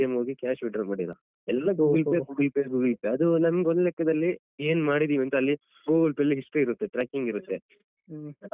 ಹ್ಮ್.